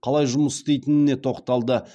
қалай жұмыс істейтініне тоқталды